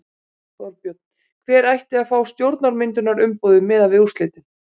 Þorbjörn: Hver ætti að fá stjórnarmyndunarumboðið miðað við úrslitin?